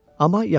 Amma yaxına atdı.